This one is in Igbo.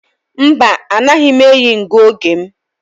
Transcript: Mba, anaghị m eyi ngụoge m.